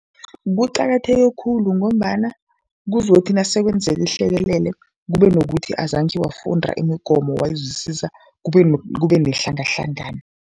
Kuqakatheke khulu ngombana kuzothi nasekwenzeka ihlekelele kube nokuthi azange wafunda imigomo wayizwisisa, kube nehlangahlangano.